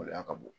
Gɛlɛya ka bon